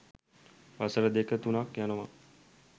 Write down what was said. වසර දෙක තුනක් යනවා.